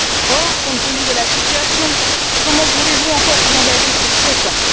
Or, compte tenu de la situation, comment pouvez vous encore vous engager sur sept ans?